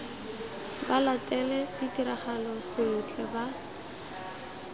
ba latele ditiragalo sentle ba